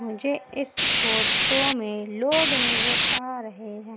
मुझे इस फोटो में लोग नजर आ रहें हैं।